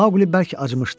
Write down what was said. Mauli bəlkə acımışdı.